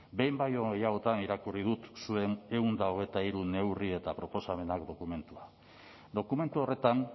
behin baino gehiagotan irakurri dut zuen ehun eta hogeita hiru neurri eta proposamenak dokumentua dokumentu horretan